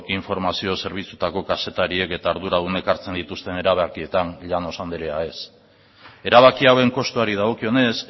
informazio zerbitzuetako kazetariek eta arduradunek hartzen dituzten erabakietan llanos anderea ez erabaki hauen kostuari dagokionez